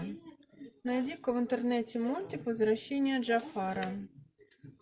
найди ка в интернете мультик возвращение джафара